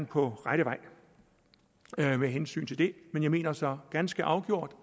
på rette vej med hensyn til det men jeg mener så ganske afgjort